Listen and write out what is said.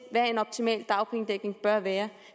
hvad en optimal dagpengedækning bør være